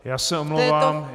Já se omlouvám.